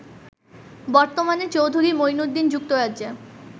বর্তমানে চৌধুরী মুঈনুদ্দীন যুক্তরাজ্যে